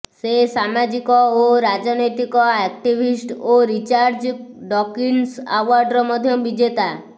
ସେ ସାମାଜିକ ଓ ରାଜନୈତିକ ଆକ୍ଟିଭିଷ୍ଟ ଓ ରିଚାର୍ଡ ଡକିନ୍ସ ଆୱାର୍ଡର ମଧ୍ୟ ବିଜେତା